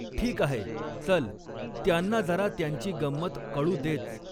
ठीक आहे, चल, त्यांना जरा त्यांची गंमत कळू देच.